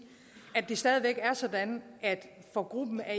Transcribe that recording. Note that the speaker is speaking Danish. at det stadig væk er sådan at for gruppen af